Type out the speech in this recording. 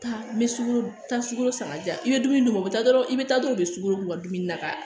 Taa n bɛ sukoro taa sukoro san ka diya i bɛ dumuni d'u ma u bɛ taa dɔrɔn i bɛ taa dɔrɔn u bɛ sukoro k'u ka dumuni na ka